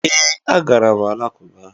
Ee, agara m alakụba.